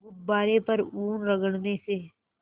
गुब्बारे पर ऊन रगड़ने से